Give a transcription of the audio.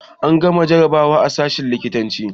An gama jarabawa a sashen likitanci